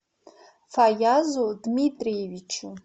фаязу дмитриевичу